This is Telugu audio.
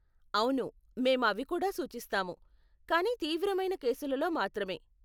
అవును మేము అవి కూడా సూచిస్తాము, కానీ తీవ్రమైన కేసులలో మాత్రమే.